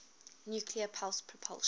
nuclear pulse propulsion